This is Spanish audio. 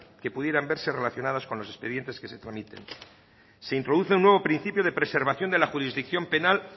que pudieran verse relacionadas con los expedientes que se tramiten se introduce un nuevo principio de preservación de la jurisdicción penal